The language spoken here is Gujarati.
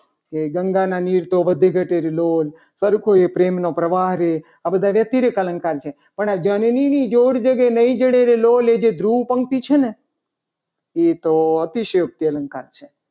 કે ગંગાના નીર તો વધે ઘટે લોલ પણ કોઈ પ્રેમનો પ્રવાહ રે આ બધા અતિરેક અલંકાર છે. પણ આ જનનીની જોડ જગી નઈ જડે રે લોલ એ જે ધ્રુવ પંક્તિ છે. ને એ તો અતિશય અલંકાર છે.